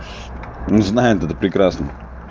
не знаю это прекрасно